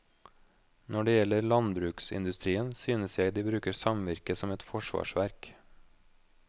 Når det gjelder landbruksindustrien, synes jeg de bruker samvirke som et forsvarsverk.